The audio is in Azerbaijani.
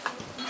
Qoy bu tərəf.